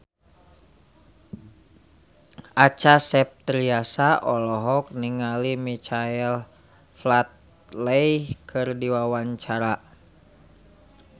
Acha Septriasa olohok ningali Michael Flatley keur diwawancara